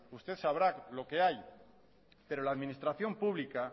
usted sabrá lo que hay pero la administración pública